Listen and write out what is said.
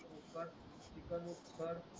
chicken mix कर